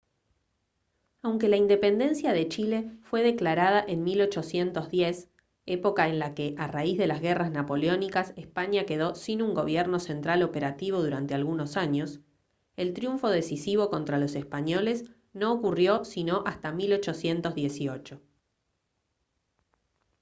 aunque la independencia de chile fue declarada en 1810 época en la que a raíz de las guerras napoleónicas españa quedó sin un gobierno central operativo durante algunos años el triunfo decisivo contra los españoles no ocurrió sino hasta 1818